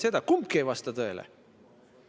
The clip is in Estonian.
See ei vasta tõele.